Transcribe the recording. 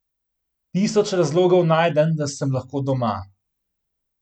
Tisoč razlogov najdem, da sem lahko doma.